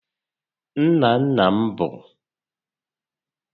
Nna nna m b